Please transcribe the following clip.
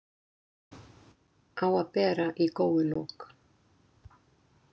Á að bera í góulok.